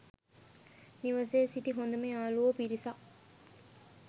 නිවසේ සිටි හොඳම යාලුවෝ පිරිසක්